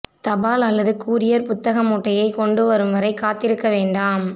தபால் அல்லது கூரியர் புத்தக மூட்டையைக் கொண்டு வரும் வரைக் காத்திருக்க வேண்டாம்